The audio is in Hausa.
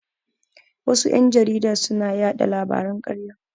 Wasu ƴan jarida suna yaɗa labaran ƙarya.